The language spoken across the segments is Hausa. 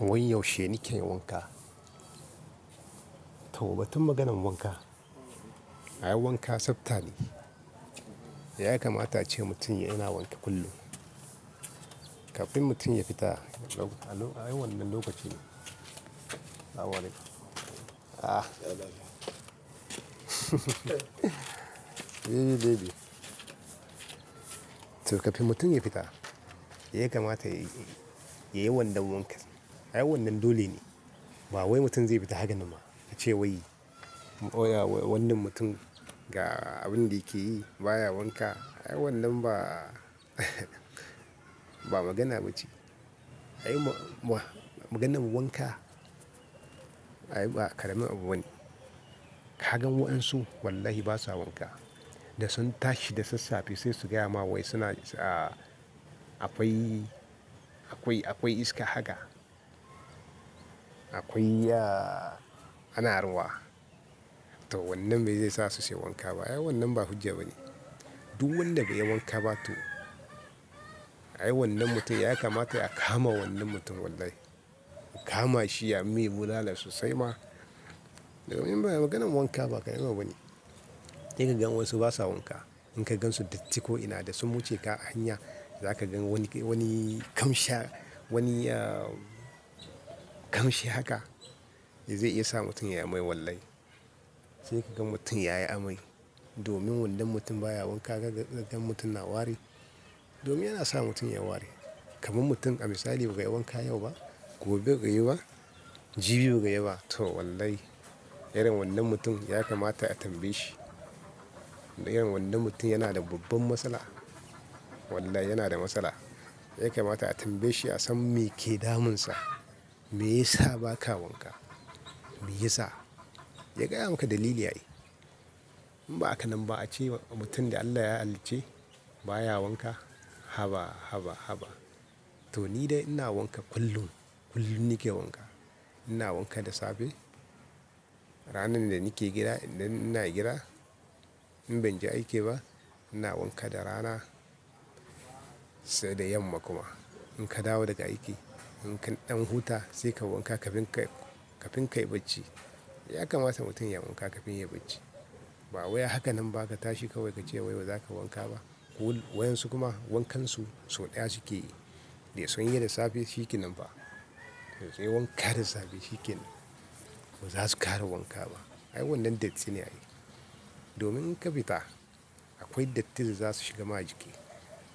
Wai yaushe nike wanka? To batun maganan wanka, ai wanka tsafta ne. Ya kamata ace mutum yana wanke kullum kafin mutum ya fita. Ai wannan lokaci ne. Salamu alaikum. Ah, to kafin mutum ya fita, me ya kamata yayi, yayi wannan wankan? Ai wannan dole. Ba wai mutum zai fita haka nam ba, ace wai, oya wannan mutum ga abin da yake yi baya wanka. Ai wannan ba, ba magana ba ce. Ai ba, maganan wanka ai ba ƙarami abu bane. Kagan waɗansu wallahi basa wanka, da sun tashi da sassafe sai su gaya ma wai suna a, a akwai, akwai iska haka. Akwai ya ana ruwa. To wannan bai zai sa su sai wanka ba. Ai wannan ba hujja bane. Duk wanda bai yi wanka ba to ai wannan mutum yaya kamata a kama wannan mutum wallahi? Mu kama shi a mai bulala sosai ma. Domin ba maganan wanka ba ƙaramin abu bane. Sai ka gan wasu basa wanka, in ka gan su datti ko ina da su wuce ka hanya, za ka gan wani, wani kamsha, wani ah ƙamshi haka, zai iya sa mutum yai amai wallahi. Sai ka ga mutum yayi amai. Domin wannan mutum baya wanka, ka gan mutum na wari, domin yana sa mutum ya wari. Kaman mutum a misali bai wanka yau ba, gobe bai yi ba, jibi bai ba, to wallahi irin wannan mutum ya kamata a tambaye shi? Irin wannann mutum yana da babban matsala. Wallahi yana da matsala. Ya kamata a tambaye shi, ya san me ke damun sa, me yasa ba ka wanka? Me yasa? Ya gaya maka dalili ai. In ba haka nan ba a ce mutum da Allah ya hallice baya wanka. Haba, haba, haba. To ni dai ina wanka kullum, kullum nike wanka. Ina wanka da safe. Ranar da nike gida, inda ina gida in ban je aiki ba, ina wanka da rana sai da yamma kuma. In ka dawo daga aiki, in ka ɗan huta sai ka wanka kafin ka, kafin ka yi bacci. Yaya kamata mutum ya wanka kafin yayi bacci? Ba wai haka nan ba ka tashi kawai ka ce wai baza kai wanka ba. Ko waɗansu kuma wankan su sau ɗaya suke yi. Da sun yi da safe shikenan fa. Da sun yi wanka da safe shi kenan. Ba za su ƙara wanka ba. Ai wannan datti ne yayi. Domin in kafita akwai datti da zasu shigar ma jiki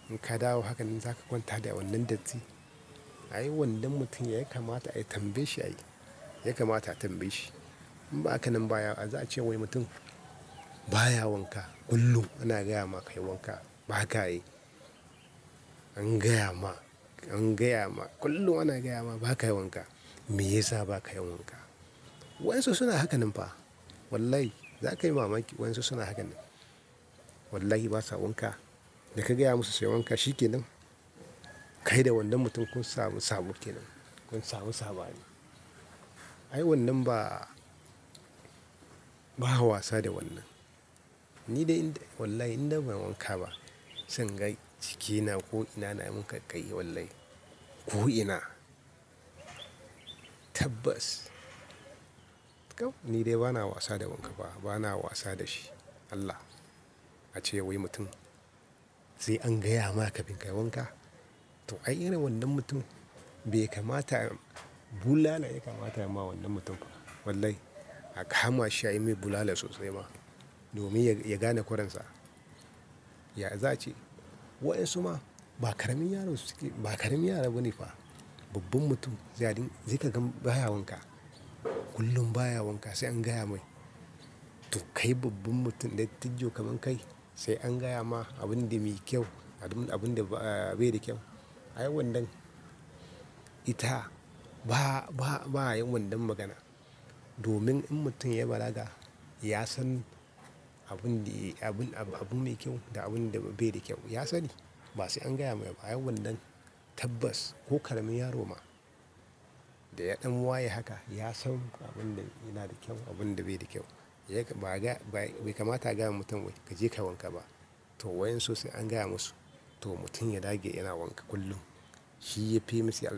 in ka dawo haka nan zaka kwanta da wannan datti. Ai wannan mutum yaya kamata a tambaye shi ai? Yakamata a tambaye shi? In baka nan ba yaya za ace wai mutum baya wanka. Kullum ana gaya maka ka yi wanka. Ba haka yayi. An gayama an gaya ma kullin ana gayama ba ka wanka. Me yasa ba ka yin wanka? Waɗansu suna haka nan fa. Wallahi za ka yi mamaki waɗansu suna haka nan. Wallahi basa wanka, da ka gaya musu sai wanka shi kenan. Kai da wannan mutum kun samu sabo kenan, kun samu saɓani. Ai wannan ba, ba a wasa da wannan. Ni dai in dai wallahi inda ban wanka ba, sai inga jikina ko ina na min kai, wallahi ko ina. Tabbas. To kawai ni dai bana wasa da wanka ba, bana wasa da shi. Allah. A ce wai mutum, sai an gaya ma kafin kai wanka? To ai irin wannan mutum bai kamata, bulala yake mata ma wannan mutum. Wallahi a kama shi a mai bulala sosai ma, domin ya gane ƙuran sa. Ya za a ce waɗansu ma ba ƙaramin yaro suke, ba ƙaramin yaro bane ba. Babban mutum zai haɗu, sai ka gan baya wanka. Kullum baya wanka sai an gaya mai. To kai babban mutum dai tijjio kaman kai, sai an gaya ma abin da mai kyau, abun, abun da ba, bai da kyau. Ai wannan ita ba, ba, ba yin wannan magana. Domin in mutum ya balaga ya san abun da, abun, abun ne kyau da abun da bai da kyau. Ya sani. Ba sai an gaya mai ba ai wannan tabbas ko ƙaramin yaro ma, da ɗan waye haka ya san abun da yana da kyau abunda bai da kyau. Yaya ka, ba ga, bai, bai kamata a gaya wai mutum kaje ka wanka ba. To waƴan su sai an gaya musu to mutum ya dage yana wanka kullum. Shi yafi musu.